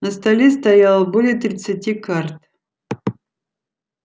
на столе стояло более тридцати карт